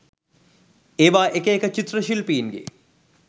ඒවා එක එක චිත්‍ර ශිල්පීන්ගේ